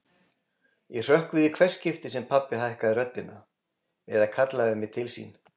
Ég hrökk við í hvert skipti sem pabbi hækkaði röddina eða kallaði mig til sín.